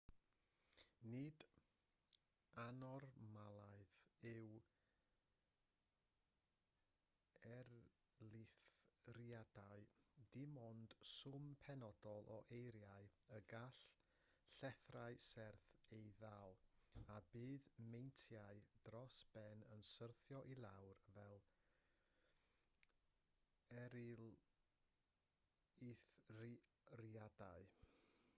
nid annormaledd yw eirlithriadau dim ond swm penodol o eira y gall llethrau serth ei ddal a bydd meintiau dros ben yn syrthio i lawr fel eirlithriadau